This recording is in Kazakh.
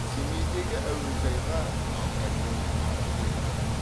семейдегі әуежайға абайдың аты берілді